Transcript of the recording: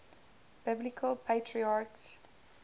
biblical patriarchs